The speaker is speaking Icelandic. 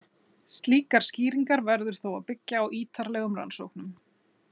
Slíkar skýringar verður þó að byggja á ítarlegum rannsóknum.